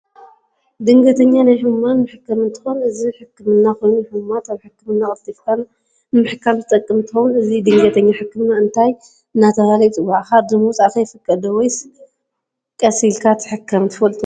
ድንገተኛ ናይ ሕሙማን መሕከም እንትኮን እዚ ሕክም ኮይኑ ንሕሙማት ኣብ ሕክምና ቀልጥፍካ ንምሕካም ዝጠቅም እንትከውን እዚ ድገኛ ሕክምና እንታይ እደተበሃል ይፅዋዕ ካርድ ምውፃእ ከ ይፍቀድ ዶስ ወይ ስቅልካ ትሕከም ትፈልጥዎዶ?